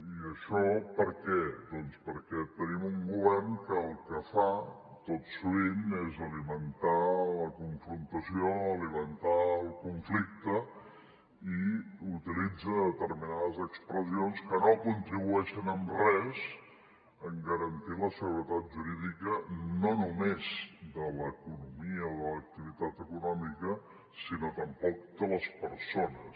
i això per què doncs perquè tenim un govern que el que fa tot sovint és alimentar la confrontació alimentar el conflicte i utilitza determinades expressions que no contribueixen en res a garantir la seguretat jurídica no només de l’economia o de l’activitat econòmica sinó tampoc de les persones